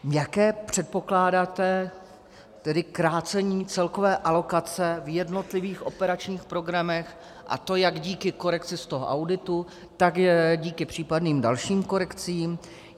Jaké předpokládáte tedy krácení celkové alokace v jednotlivých operačních programech, a to jak díky korekci z toho auditu, tak díky případným dalším korekcím.